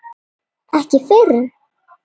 Ekki fyrr?